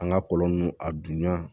An ga kɔlɔn nunnu a dun ɲan